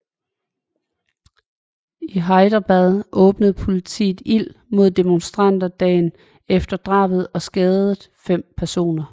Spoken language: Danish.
I Hyderabad åbnede politiet ild mod demonstranter dagen efter drabet og skadede fem personer